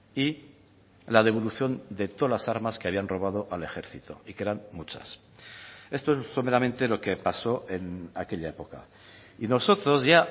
y la devolución de todas las armas que habían robado al ejército y que eran muchas esto es someramente lo que pasó en aquella época y nosotros ya